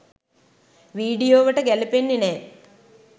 වීඩියෝවට ගැලපෙන්නෙ නෑ.